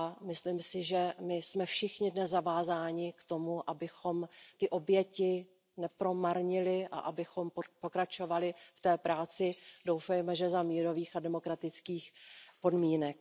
Myslím si, že my všichni jsme dnes zavázáni k tomu, abychom ty oběti nepromarnili a abychom pokračovali v té práci, doufejme, za mírových a demokratických podmínek.